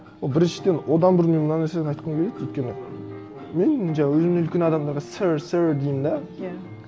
ол біріншіден одан бұрын мен мына нәрсені айтқым келеді өйткені мен мына өзімнен үлкен адамдарға сёр сёр деймін де иә